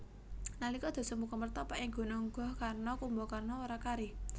Nalika Dasamuka mertapa ing Gunung Gohkarna Kumbakarna ora kari